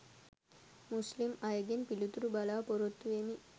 මුස්ලිම් අයගෙන් පිළිතුරු බලා පොරොත්තු වෙමි.